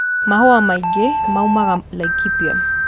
Mahũa maingĩ maumaga Laikipia